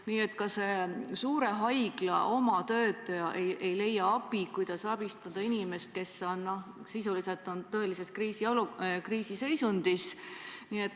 Nii et ka nii suure haigla töötaja ei leia abi, ei tea, kuidas abistada inimest, kes on sisuliselt tõelises kriisiseisundis.